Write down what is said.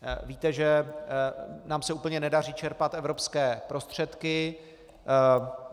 Víte, že se nám úplně nedaří čerpat evropské prostředky.